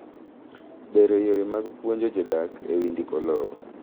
Bero yore mag puonjo jodak e wi ndiko lowo.